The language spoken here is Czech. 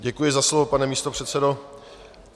Děkuji za slovo, pane místopředsedo.